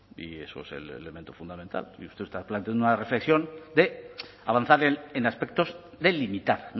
y eso es el elemento fundamental y usted está planteando una reflexión de avanzar en aspectos de limitar